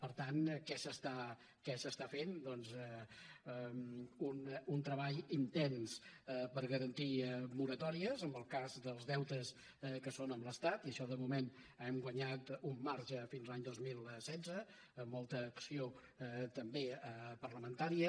per tant què s’està fent doncs un treball intens per garantir moratòries en el cas dels deutes que són amb l’estat i això de moment hem guanyat un marge fins l’any dos mil setze amb molta acció també parlamentària